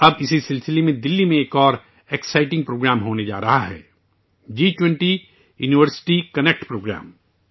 اب اسی سلسلے میں دہلی میں ایک اور دل چسپ پروگرام ہونے جا رہا ہے جس کا نام ہے جی 20 یونیورسٹی کنیکٹ پروگرام